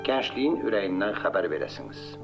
Gəncliyin ürəyindən xəbər verəsiniz.